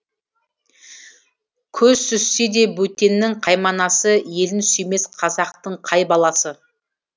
көз сүзсе де бөтеннің қайманасы елін сүймес қазақтың қай баласы